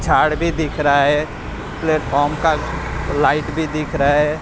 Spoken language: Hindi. झाड़ भी दिख रहा है प्लेटफॉर्म का लाइट भी दिख रहा है।